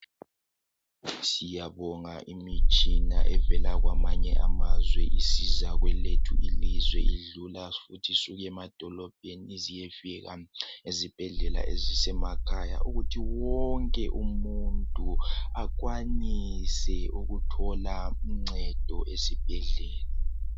Siyabonga imitshina evela kwamanye amazwe isiza kwelethu ilizwe idlula emadolobheni ize iyefika ezibhedlela ezisemakhaya ukuthi wonke umuntu akwanise ukuthola uncedo esibhedlela.